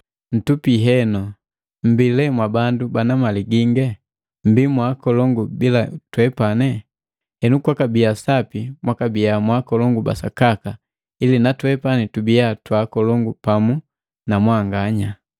Ntupi henu! Mmbi mwa bandu bana mali gingi? Mmbi mwakolongu bila twepani! Henu kwakabiya sapi mwakabiya mwakolongu ba sakaka ili na twepani tubiya twa akolongu pamu na mwanganya!